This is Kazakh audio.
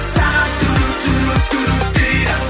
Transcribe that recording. сағат дейді